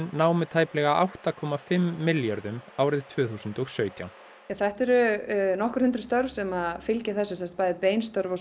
námu tæplega átta komma fimm milljörðum árið tvö þúsund og sautján þetta eru nokkur hundruð störf sem fylgja þessu bæði bein störf og